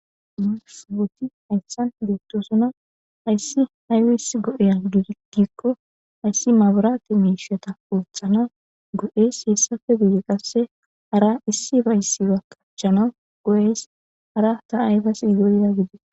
Musu woti hayssan liittosuna ayssi hayuis go7eya gidigikko ayssi maburaate miishiyata uothana go7es heessafe buye qasse hara issi bayssiba kachchanau go7ees hara ta ayfas go7eya gidio